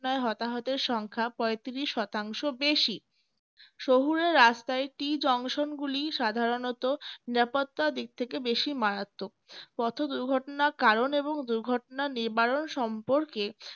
হতাহতের সংখ্যা পঁয়ত্রিশ শতাংশ বেশি শহুরে রাস্তায় tea junction গুলি সাধারণত নিরাপত্তা দিক থেকে বেশি মারাত্মক পথ দুর্ঘটনার কারণ এবং দুর্ঘটনা নিবারণ সম্পর্কে